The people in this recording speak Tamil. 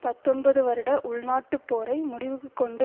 பத்தொன்பது வருட உள்நாட்டுப் போரை முடிவுக்கு கொண்டு